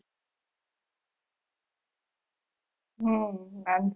હમ